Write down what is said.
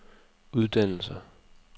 uddannelser